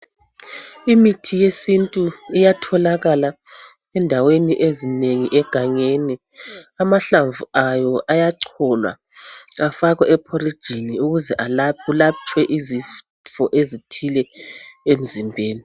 Imithi yesintu iyatholakala endaweni ezinengi egangeni. Amahlamvu ayo ayacholwa afakwe epholijini ukuze kulatshwe izifo ezithile emzimbeni.